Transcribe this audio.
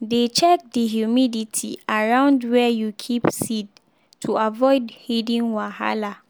dey check the humidity around where you keep seed to avoid hidden wahala.